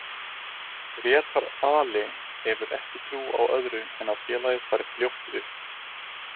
Grétar Ali hefur ekki trú á öðru en að félagið fari fljótt upp.